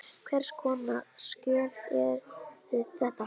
Hvers konar skjöl eru þetta?